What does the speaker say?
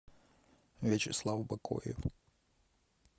вячеслав бакоев